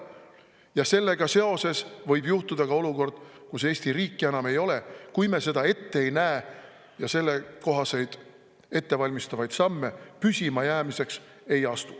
Ja sellega seoses võib ka juhtuda, et Eesti riiki enam ei ole, kui me seda ette ei näe ja sellekohaseid ettevalmistavaid samme püsimajäämiseks ei astu.